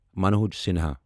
Manoj Sinha